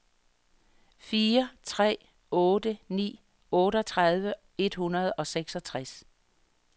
fire tre otte ni otteogtredive et hundrede og seksogtres